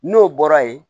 N'o bɔra ye